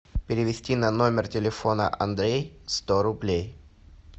перевести на номер телефона андрей сто рублей